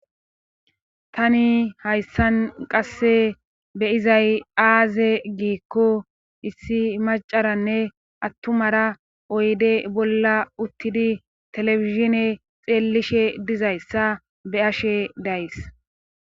Tani hayssan qasse beyizay aaze giikko issi macaranne attumara oyde bolla uttidi telefishine xeellishe dizayssa be ashe days